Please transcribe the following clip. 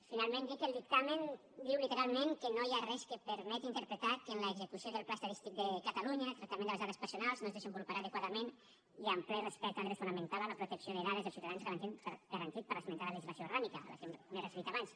finalment dir que el dictamen diu literalment que no hi ha res que permeti interpretar que en l’execució del pla estadístic de catalunya el tractament de les dades personals no es desenvoluparà adequadament i amb ple respecte al dret fonamental a la protecció de dades dels ciutadans garantit per l’esmentada legislació orgànica a què m’he referit abans